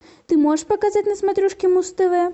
ты можешь показать на смотрешке муз тв